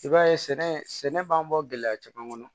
I b'a ye sɛnɛ sɛnɛ b'an bɔ gɛlɛya caman kɔnɔ